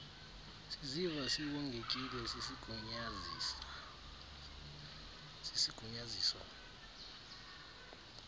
siziva siwongekile sisigunyaziso